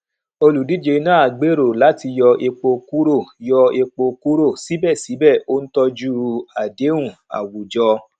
olùdíje náà gbèrò láti yọ epo kúrò yọ epo kúrò síbẹsíbẹ ó ń tọjú àdéhùn àwùjọ